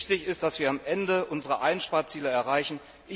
Wichtig ist, dass wir am Ende unsere Einsparziele erreichen.